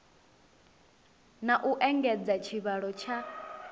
na u engedza tshivhalo tsha